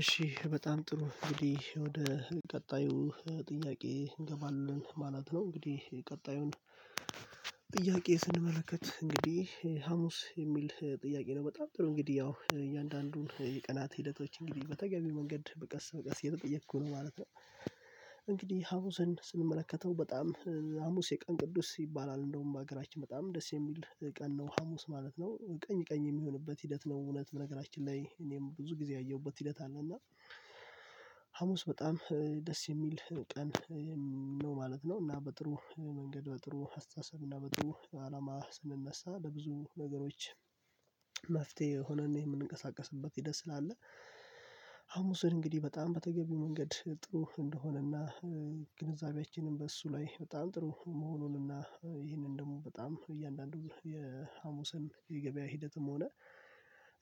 እሺ በጣም ጥሩ እንግዲህ ወደ ቀጣዩ ጥያቄ እንገባለን ማለት ነው። እንግዲህ ቀጣዩን ጥያቄ ስንመለከት እንግዲህ ሀሙስ የሚል ጥያቄ ነው? በጣም ጥሩ እንግዲህ ያው እያንዳንዱን የቀናት ሂደቶች እንግዲህ በተገቢው መንገድ በቀስ በቀስ የተጠየቅኩ ነው ማለት ነው። እንግዲህ ሀሙስን ስንመለከተው በጣም ሀሙስ የቀን ቅዱስ ይባላል እንደውም በሀገራችን በጣም ደስ የሚል ቀን ነው ሀሙስ ማለት ነው ቀኝ ቀኝ የሚሆንበት ሂደት ነው። እውነት በነገራችን ላይ እኔም ብዙ ጊዜ ያየሁበት ሂደት አለ። እና ሀሙስ በጣም ደስ የሚል ቀን ነው ማለት ነው። እና በጥሩ መንገድ በጥሩ አስተሳሰብ እና በጥሩ አላማ ስንነሳ ለብዙ ነገሮች መፍትሄ ሆነን የምንቀሳቀስበት ደስ አለ። ሐሙስን እንግዲህ በጣም በተገቢው መንገድ ጥሩ እንደሆነና ግንዛቤያችንም በእሱ ላይ በጣም ጥሩ መሆኑንና ይህንን ደግሞ በጣም እያንዳንዱ የሀሙስን የገበያ ሂደትም ሆነ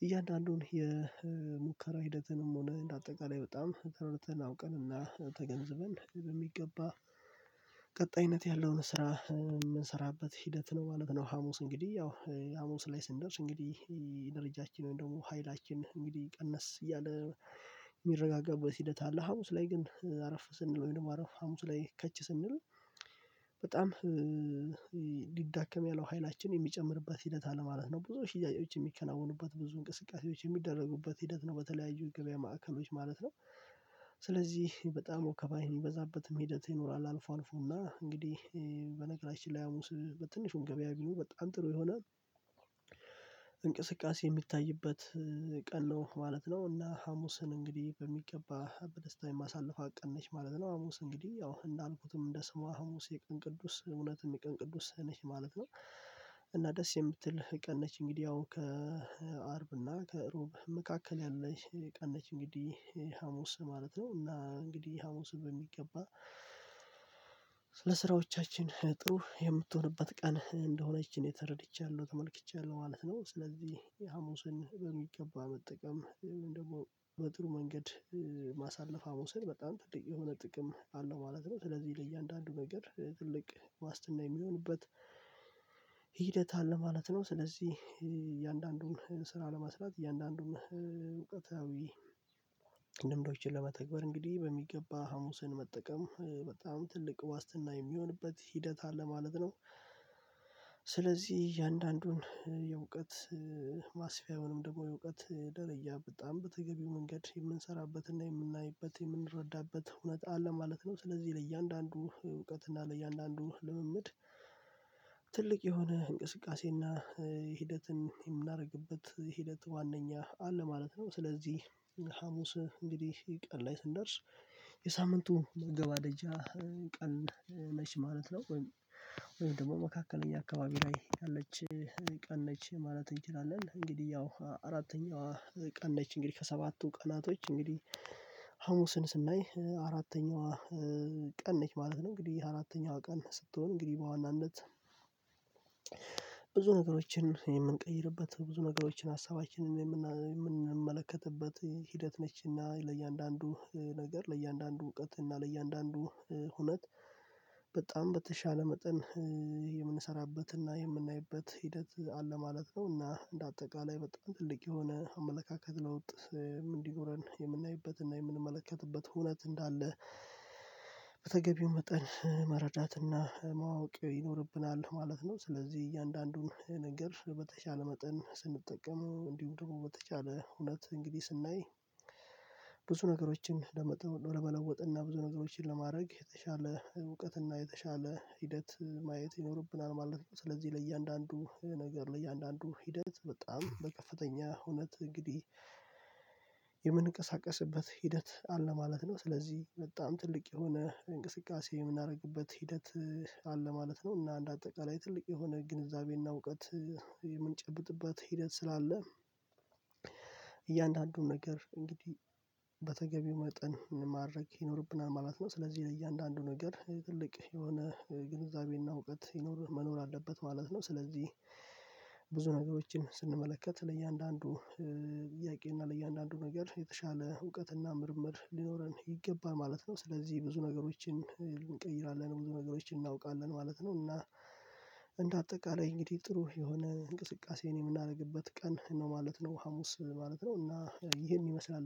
እያንዳንዱን የሙከራ ሂደትንም ሆነ እንደ አጠቃላይ በጣም ተረድተን አውቀንና ተገንዝበን በሚገባ ቀጣይነት ያለውን ስራ የምንሰራበት ሂደት ነው። ማለት ነው ሀሙስ እንግዲህ ያው ሀሙስ ላይ ስንደርስ እንግዲህ ድርጃችን ወይም ደግሞ ሀይላችን እንግዲህ ቀነስ እያለ የሚረጋጋበት ሂደት አለ። ሀሙስ ላይ ግን አረፍ ስንል ወይም አረፍ ሀሙስ ላይ ከች ስንል በጣም ሊዳከም ያለው ሀይላችን የሚጨምርበት ሂደት አለ ማለት ነው። ብዙ ሽያጮች የሚከናወኑበት ብዙ እንቅስቃሴዎች የሚደረጉበት ሂደት ነው በተለያዩ ገበያ ማዕከሎች ማለት ነው። ስለዚህ በጣም ወከባ የሚበዛበትም ሂደት ይኖራል። አልፎ አልፎና እንግዲህ በነገራችን ላይ ሀሙስ በትንሹም ገበያ ግን በጣም ጥሩ የሆነ እንቅስቃሴ የሚታይበት ቀን ነው ማለት ነው። እና ሀሙስን እንግዲህ በሚገባ በደስታ የማሳልፍት ቀን ነች ማለት ነው። ሀሙስ እንግዲህ ያው እንዳልኩትም እንደ ስሟ ሀሙስ የቀን ቅዱስ እውነትም የቀን ቅዱስ ነች ማለት ነው። እና ደስ የምትል ቀን ነች እንግዲህ ያው ከአርብና ከእሮብ መካከል ያለች ቀን ነች እንግዲህ ሀሙስ ማለት ነው። እና እንግዲህ ሀሙስ በሚገባ ስለ ስራዎቻችን ጥሩ የምትሆንበት ቀን እንደሆነች እኔ ተረድቻለሁ ተመልክቻለሁ ማለት ነው። ስለዚህ የሀሙስን በሚገባ መጠቀም ወይም ደግሞ በጥሩ መንገድ ማሳለፍ ሀሙስን በጣም ትልቅ የሆነ ጥቅም አለው ማለት ነው። ስለዚህ ለእያንዳንዱ ነገር ትልቅ ዋስትና የሚሆንበት ሂደት አለ ማለት ነው። ስለዚህ እያንዳንዱን ስራ ለማስራት እያንዳንዱን እውቀታዊ ይችል ለመተግበር እንግዲህ በሚገባ ሀሙስን መጠቀም በጣም ትልቅ ዋስትና የሚሆንበት ሂደት አለ ማለት ነው። ስለዚህ እያንዳንዱን የእውቀት ማስፊያውንም ደግሞ የእውቀት ደረያ በጣም በተገቢው መንገድ የምንሰራበትና የምናይበት የምንረዳበት ሁነት አለ ማለት ነው። ስለዚህ ለእያንዳንዱ እውቀት እና ለእያንዳንዱ ልምምድ ትልቅ የሆነ እንቅስቃሴና ሂደትን የምናደርግበት ሂደት ዋናኛ አለ ማለት ነው። ስለዚህ ሀሙስ እንግዲህ ቀን ላይ ስንደርስ የሳምንቱ መገባደጃ ቀን ነች ማለት ነው። ወይ ደግሞ መካከለኛ አካባቢ ላይ ያለች ቀን ነች ማለት እንችላለን። እንግዲህ ያው አራተኛዋ ቀን ነች እንግዲህ ከሰባቱ ቀናቶች እንግዲህ ሀሙስን ስናይ አራተኛዋ ቀን ነች ማለት ነው። እንግዲህ አራተኛዋ ቀን ስትሆን እንግዲህ በዋናነት ብዙ ነገሮችን የምንቀይርበት ብዙ ነገሮችን ሀሳባችንን የምንመለከትበት ሂደት ነችና ለእያንዳንዱ ነገር ለእያንዳንዱ እውቀት እና ለእያንዳንዱ ሁነት በጣም በተሻለ መጠን የምንሰራበትና የምናይበት ሂደት አለ ማለት ነው። እና እንደ አጠቃላይ በጣም ትልቅ የሆነ አመለካከት ለውጥ እንዲኖረን የምናይበት እና የምንመለከትበት ሁነት እንዳለ በተገቢው መጠን መረዳትና ማወቅ ይኖርብናል ማለት ነው። ስለዚህ እያንዳንዱን ነገር በተቻለ መጠን ስንጠቀመው እንዲሁም ደግሞ በተቻለ ሁነት እንግዲህ ስናይ ብዙ ነገሮችን ለመለወጥ እና ብዙ ነገሮችን ለማድረግ የተሻለ እውቀት እና የተሻለ ሂደት ማየት ይኖርብናል ማለት ነው። ስለዚህ ለእያንዳንዱ ነገር ለእያንዳንዱ ሂደት በጣም በከፍተኛ ሁነት እንግዲህ የምንቀሳቀስበት ሂደት አለ ማለት ነው። ስለዚህ በጣም ትልቅ የሆነ እንቅስቃሴ የምናደርግበት ሂደት አለ ማለት ነው። እና እንደ አጠቃላይ ትልቅ የሆነ ግንዛቤና እውቀት የምንጨብጥበት ሂደት ስላለ እያንዳንዱን ነገር እንግዲህ በተገቢው መጠን ማድረግ ይኖርብናል ማለት ነው። ስለዚህ ለእያንዳንዱ ነገር ትልቅ የሆነ ግንዛቤና እውቀት ይኖር መኖር አለበት ማለት ነው። ስለዚህ ብዙ ነገሮችን ስንመለከት ለእያንዳንዱ ጥያቄና ለእያንዳንዱ ነገር የተሻለ እውቀትና ምርመር ሊኖረን ይገባን ማለት ነው። ስለዚህ ብዙ ነገሮችን እንቀይራለን ብዙ ነገሮችን እናውቃለን ማለት ነው። እና እንደ አጠቃላይ እንግዲህ ጥሩ የሆነ እንቅስቃሴ የምናደርግበት ቀን ነው ማለት ነው። ሀሙስ ማለት ነው እና ይሄን ይመስላል